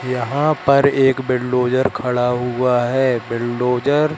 यहाँ पर एक बिलडोजर खड़ा हुआ हैं बिलडोजर --